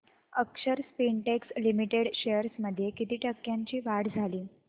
अक्षर Spintex limited shares मध्ये किती टक्क्यांची वाढ झाली